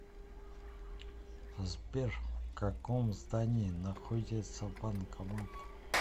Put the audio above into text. сбер в каком здании находится банкомат